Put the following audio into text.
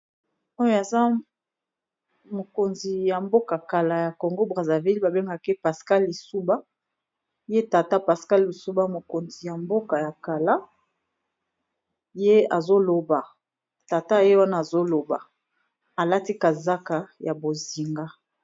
Oyo aza mikonzi ya mboka ya kala ya congo kombo Naye pascal lisina Azo loba.